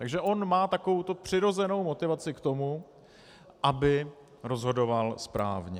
Takže on má takovouto přirozenou motivaci k tomu, aby rozhodoval správně.